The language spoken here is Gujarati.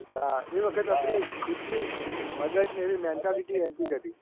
એ વખત ખુદની આપણી મગજની એવી mental mentality હતી. કે